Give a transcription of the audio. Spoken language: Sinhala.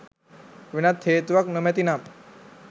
වෙනත් හේතුවක් නොමැති නම්